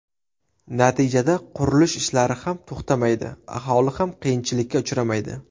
Natijada qurilish ishlari ham to‘xtamaydi, aholi ham qiyinchilikka uchramaydi.